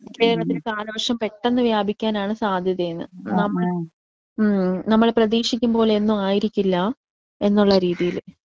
കേരളത്തിൽ കാലവർഷം പെട്ടെന്ന് വ്യാപിക്കാനാണ് സാധ്യതയെന്ന്. ഉം നമ്മൾ പ്രതീക്ഷിക്കും പോലെയൊക്കെ ആയിരിക്കില്ല എന്നുള്ള രീതീല്.